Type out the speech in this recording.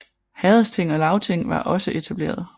Herredsting og lagting var også etableret